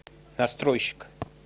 настройщик